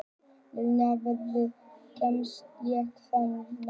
Liljan, hvernig kemst ég þangað?